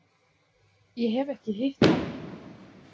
Ég hef ekki hitt hann.